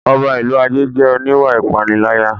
Ọba ìlú Ajé jẹ́ oníwà ìpániláyà